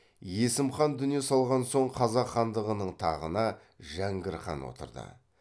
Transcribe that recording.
есім хан дүние салған соң қазақ хандығының тағына жәңгір хан отырды